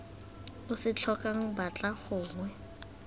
o se tlhokang batlang gongwe